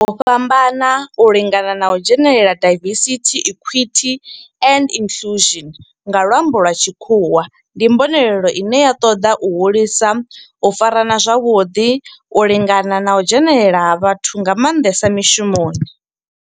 U fhambana, u lingana na u dzhenelela diversity, equity and inclusion nga lwambo lwa tshikhuwa ndi mbonelelo ine ya toda u hulisa u farana zwavhuḓi, u lingana na u dzhenelela ha vhathu nga mandesa mishumoni.